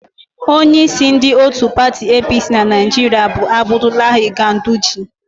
Onyeísí ndị òtù pati EePiiSii na Naịjiria bụ Abdulahi Ganduje.